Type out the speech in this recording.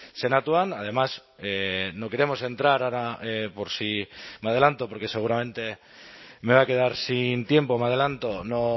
senatuan además no queremos entrar ahora por si me adelanto porque seguramente me voy a quedar sin tiempo me adelanto no